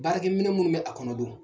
Baarakɛ minɛn minnu bɛ a kɔnɔ don